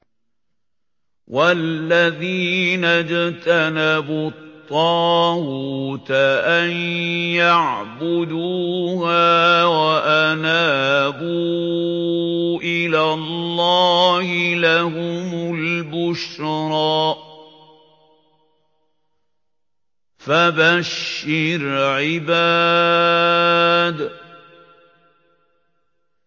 وَالَّذِينَ اجْتَنَبُوا الطَّاغُوتَ أَن يَعْبُدُوهَا وَأَنَابُوا إِلَى اللَّهِ لَهُمُ الْبُشْرَىٰ ۚ فَبَشِّرْ عِبَادِ